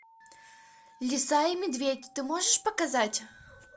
лиса и медведь ты можешь показать